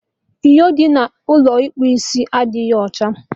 Inyo dị n'Ụlọ ịkpụ isia adịghị ọcha